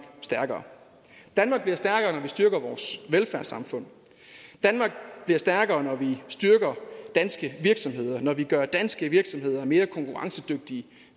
stærkere danmark bliver stærkere når vi styrker vores velfærdssamfund danmark bliver stærkere når vi styrker danske virksomheder når vi gør danske virksomheder mere konkurrencedygtige